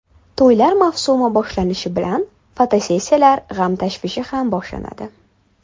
To‘ylar mavsumi boshlanishi bilan, fotosessiyalar g‘am-tashvishi ham boshlanadi.